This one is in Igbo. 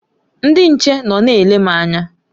Ndị nche nọ na-ele m anya.